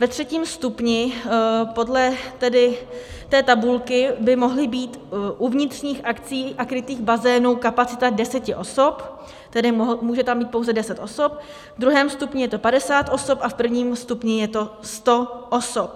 Ve třetím stupni podle té tabulky by mohla být u vnitřních akcí a krytých bazénů kapacita 10 osob, tedy může tam být pouze 10 osob, v druhém stupni je to 50 osob a v prvním stupni je to 100 osob.